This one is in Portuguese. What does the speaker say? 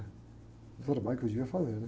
O trabalho que eu devia fazer, né?